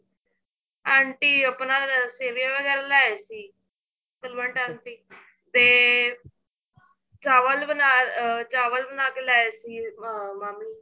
aunty ਆਪਣਾ ਸੇਮੀਆਂ ਵਗੈਰਾ ਲਿਆਏ ਸੀ ਬਲਵੰਤ aunty ਤੇ ਚਾਵਲ ਬਣਾ ਅਹ ਚਾਵਲ ਬਣਾ ਲਿਆਏ ਸੀ ਮਾਮੀ